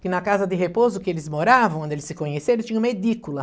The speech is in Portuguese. que na casa de repouso que eles moravam, onde eles se conheceram, tinha uma edícula.